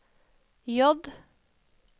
J